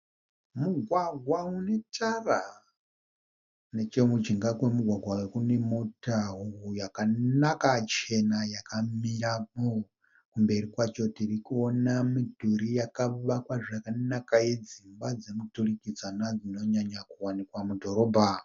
Mugwagwa une tara. Neche mujinga kwemugwagwa uyu kune mota yakanaka chena yakamirapo. Kumberi kwacho tirikuona midhuri yakavakwa zvakanaka yedzimba dzemuturikidzanwa dzinonyanya kuwanikwa mudhorobha.